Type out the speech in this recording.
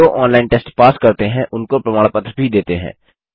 जो online test pass करते हैं उनको प्रमाण पत्र भी देते हैं